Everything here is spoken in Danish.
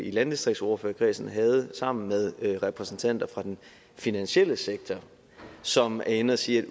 i landdistriktsordførerkredsen havde sammen med repræsentanter fra den finansielle sektor som var inde at sige at